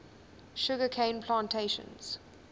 sugar cane plantations